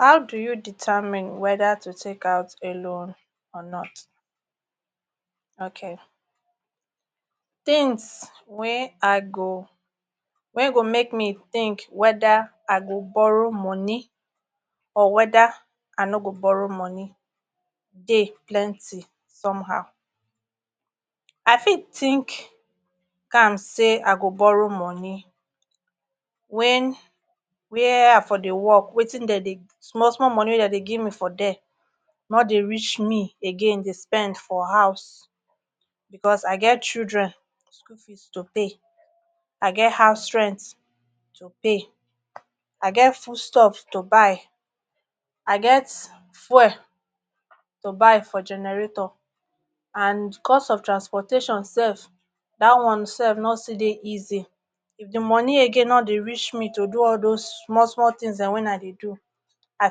How do you determine weda to take out a loan or not, ok. Tins wey I go, wen go make me think weda I go borrow money or weda I no go borrow money dey plenty somehow. I fit think am say I go borrow money wen wia I for dey work wetin den dey, small small money wen dem dey give me for dia no dey reach me again dey spend for house bicos I get children school fees to pay, o get house rent to pay I get foods stuffs to buy I get fuel to buy for generator and cost of transportation sef dat one sef no still dey easy. If di money again no dey reach me to do all those small small tins dem wen I dey do I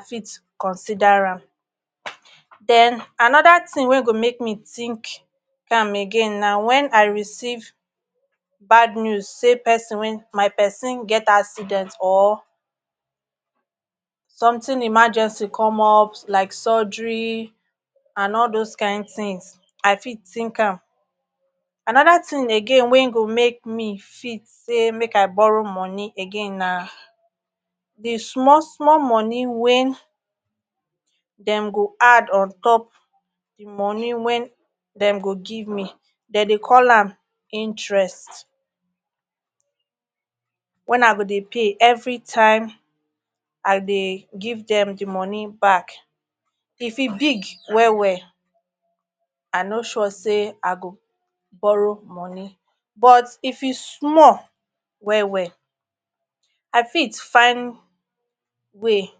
fit consider am. Den anoda tin wey go make me think am again na wen I receive bad news say pesin, my pesin get accident or something emergency come up like surgery and all those kain tins, I fit think am. Anoda tin again wen go make me fit say make I borrow money again na di small small money wen dem go add on top di money wen dem go give me dey dey call am interest wen I go dey pay evri time I dey give dem di money back if e big wel wel I no sure say I go borrow money but if e small wel wel I fit find way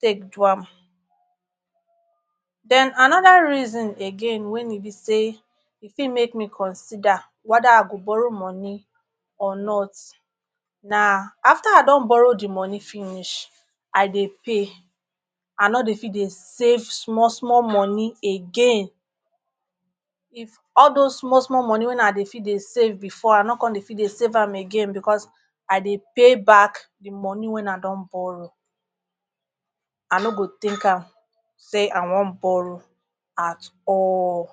take do am. Den anoda reason again wen e bi say e fit make me consider weda I go borrow money or not na afta I don borrow di money finish, I dey pay, I no dey fit dey save small small money again if all those small small money wen I dey fit dey save bifor I no come dey fit dey save am again bicos i dey pay back di money wen I don borrow I no go think am say I wan borrow at all.